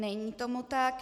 Není tomu tak.